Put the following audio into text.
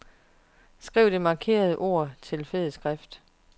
Skriv det markerede ord til fed skrift.